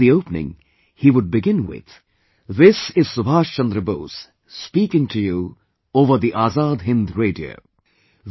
In the opening he would begin with, "This is Subhash Chandra Bose speaking to you over the Azad Hind Radio..."